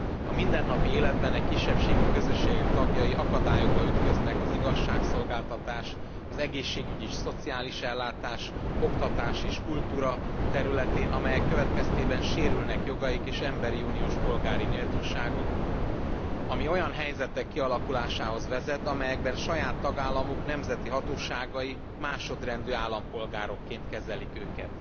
A mindennapi életben e kisebbségi közösségek tagjai akadályokba ütköznek az igazságszolgáltatás, az egészségügyi és szociális ellátás, oktatás és kultúra területén, aminek következtében sérülnek jogaik és európai uniós polgári méltóságuk, ami olyan helyzetek kialakulásához vezet, amelyekben saját tagállamuk nemzeti hatóságai másodrendű állampolgárokként kezelik őket.